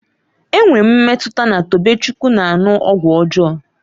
Enwere m mmetụta na Tobechukwu na-aṅụ ọgwụ ọjọọ